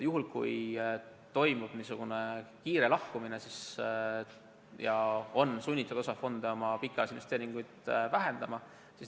Juhul kui saab teoks kiire sambast lahkumine, on osa fonde sunnitud oma pikaajalisi investeeringuid vähendama.